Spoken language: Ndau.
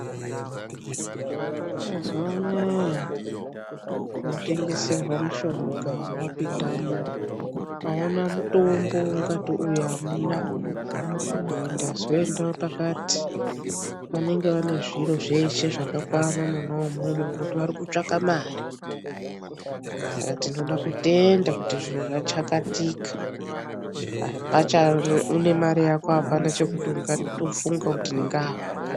Mazuwa anaya munotengeserwa mushonga wapindamo ukaona mutombo waungati uyu amuna uyu ndazoenda pakati, vanenge vane zviro zveshe zvakakwana mwona imwomwo ngokuti varikutsvaka mare saka tinoda kutenda kuti zviro zvachakatika. Une mare Yako apana chekufunga kuti ndingawe.